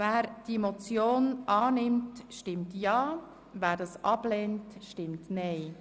Wer diese annehmen will, stimmt Ja, wer diese ablehnt, stimmt Nein.